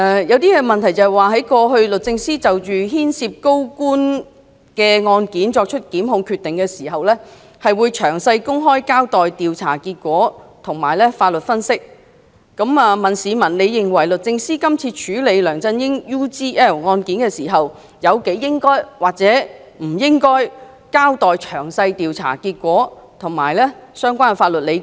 有一項問題是："過去律政司就牽涉高官嘅案件作出檢控決定時，會詳細公開交代調查結果同埋法律分析，你認為律政司今次處理梁振英 UGL 案件時，有幾應該或者唔應該交代詳細調查結果同埋法律理據？